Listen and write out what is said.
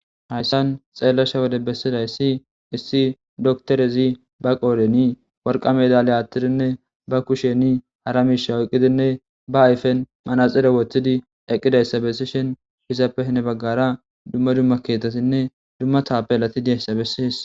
Hayssan xeellasha wode bessida issi issi doktorezi ba qooreni worqa me dale attirinne ba kusheni hara miisha wuqqidinne ba ayfen manaxire woththidi eqqidayssa bessi shin hizappehne baggara dumma dumma ketatinne dumma taape lati deessa bessis.